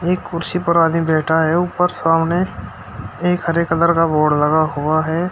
एक कुर्सी पर आदमी बैठा है ऊपर सामने एक हरे कलर का बोर्ड लगा हुआ है।